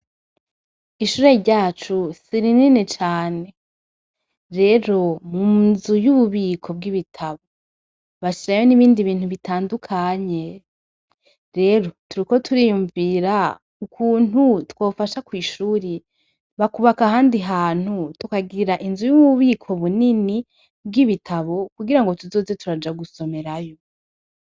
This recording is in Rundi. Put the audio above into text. Ishure ryacu, sirinini cane. Rero , munzu yububiko bw’ibitabo bashirayo nibindi bintu bitandukanye. Rero, turiko turiyumvira ,ukuntu twofasha kwishure ,bakubaka ahandi hantu tukagira inzu y’ububiko bunini bw’ibitabu , kugira tuzoze turaja gusomerayo.